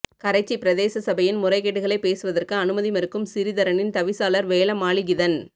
கரைச்சி பிரதேச சபையின் முறைகேடுகளை பேசுவதற்கு அனுமதி மறுக்கும் சிறிதரனின் தவிசாளர் வேழமாலிகிதன்